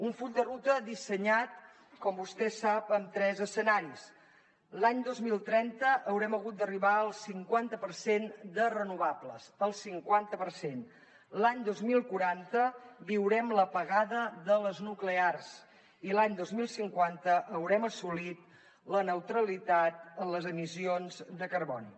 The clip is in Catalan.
un full de ruta dissenyat com vostè sap en tres escenaris l’any dos mil trenta haurem hagut d’arribar al cinquanta per cent de renovables el cinquanta per cent l’any dos mil quaranta viurem l’apagada de les nuclears i l’any dos mil cinquanta haurem assolit la neutralitat en les emissions de carboni